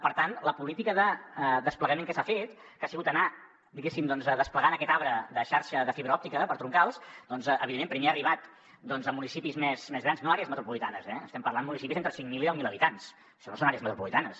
per tant la política de desplegament que s’ha fet que ha sigut anar diguéssim desplegant aquest arbre de xarxa de fibra òptica per troncals doncs evidentment primer ha arribat a municipis més grans no àrees metropolitanes eh estem parlant de municipis d’entre cinc mil i deu mil habitants això no són àrees metropolitanes